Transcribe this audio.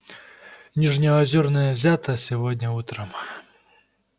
нижнеозерная взята сегодня утром